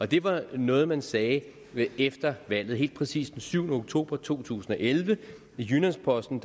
det var noget man sagde efter valget helt præcis den syvende oktober to tusind og elleve i jyllands posten